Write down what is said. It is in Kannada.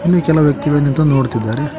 ಹಾಗೆ ಕೆಲವ್ ವ್ಯಕ್ತಿಗಳ್ ನಿಂತು ನೋಡತಿದರೆ.